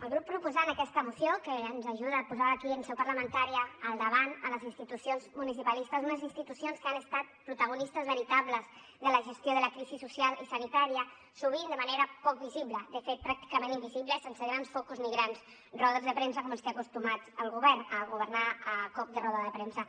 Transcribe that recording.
al grup proposant aquesta moció que ens ajuda a posar aquí en seu parlamentària al davant les institucions municipalistes unes institucions que han estat protagonistes veritables de la gestió de la crisi social i sanitària sovint de manera poc visible de fet pràcticament invisibles sense grans focus ni grans rodes de premsa com ens té acostumats el govern a governar a cop de roda de premsa